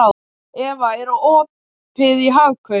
Eva, er opið í Hagkaup?